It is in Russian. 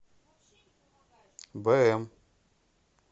бм